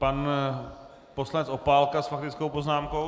Pan poslanec Opálka s faktickou poznámkou.